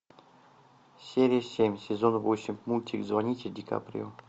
серия семь сезон восемь мультик звоните дикаприо